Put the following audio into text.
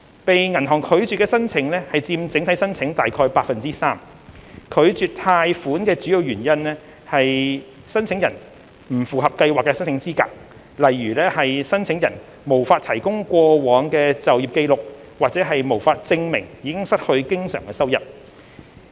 被銀行拒絕的申請佔整體申請約 3%， 拒絕貸款的主要原因為申請人不符合計劃的申請資格，例如申請人無法提供過往的就業紀錄和無法證明已失去經常收入。